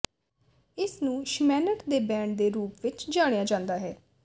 ਇਸਨੂੰ ਸ਼ਮੈਨਟ ਦੇ ਬੈਂਡ ਦੇ ਰੂਪ ਵਿੱਚ ਜਾਣਿਆ ਜਾਂਦਾ ਹੈ